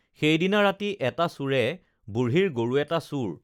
সেইদিনা ৰাতি এটা চোৰে বুঢ়ীৰ গৰু এটা চুৰ